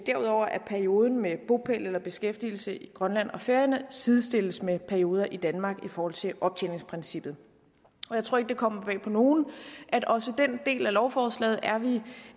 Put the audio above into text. perioden med bopæl eller beskæftigelse i grønland og færøerne sidestilles med perioder i danmark i forhold til optjeningsprincippet jeg tror ikke det kommer bag på nogen at også den del af lovforslaget